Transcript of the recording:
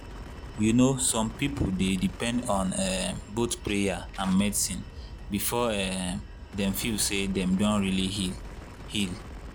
you know some people dey depend on um both prayer and medicine before um dem feel say dem don really heal. heal.